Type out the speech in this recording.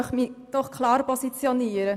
Ich möchte mich klar positionieren: